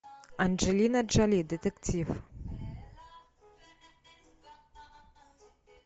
анджелина джоли детектив